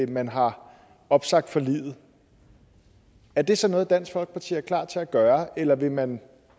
man har opsagt forliget er det så noget dansk folkeparti er klar til at gøre eller vil man